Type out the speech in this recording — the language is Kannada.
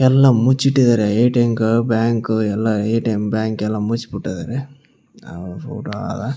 ಎಲ್ಲಾ ಮುಚ್ಚಿಟ್ಟಿದ್ದಾರೆ ಎ.ಟಿ.ಮ್ ಕಾರ್ಡ್ ಬ್ಯಾಂಕ್ ಎಲ್ಲಾ ಎ.ಟಿ.ಮ್ ಬ್ಯಾಂಕ್ ಎಲ್ಲಾ ಮುಚ್ಚ್ಬಿಟ್ಟದ್ರೆ .]